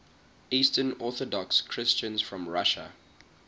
eastern orthodox christians from russia